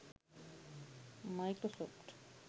microsoft